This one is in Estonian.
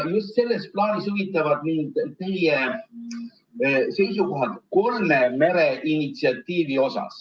Just selles plaanis huvitavad mind teie seisukohad kolme mere initsiatiivi kohta.